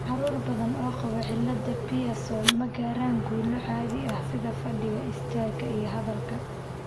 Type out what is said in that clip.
Carruur badan oo qaba cillada Pierson ma gaaraan guulo caadi ah sida fadhiga, istaaga, iyo hadalka.